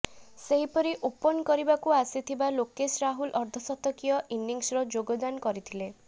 ସେହିପରି ଓପନ୍ କରିବାକୁ ଆସିଥିବା ଲୋକେଶ ରାହୁଲ ଅର୍ଦ୍ଧଶତକୀୟ ଇନିଂସର ଯୋଗଦାନ କରିଥିଲେ